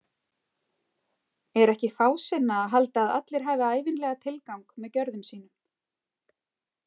Er ekki fásinna að halda að allir hafi ævinlega tilgang með gjörðum sínum?